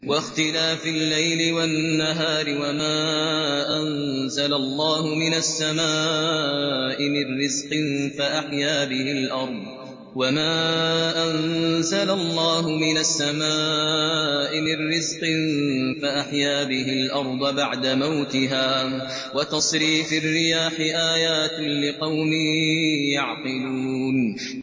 وَاخْتِلَافِ اللَّيْلِ وَالنَّهَارِ وَمَا أَنزَلَ اللَّهُ مِنَ السَّمَاءِ مِن رِّزْقٍ فَأَحْيَا بِهِ الْأَرْضَ بَعْدَ مَوْتِهَا وَتَصْرِيفِ الرِّيَاحِ آيَاتٌ لِّقَوْمٍ يَعْقِلُونَ